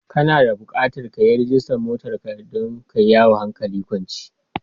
Kana da bukatar ka yi rajistar motar ka don ka yi yawo hankali kwance.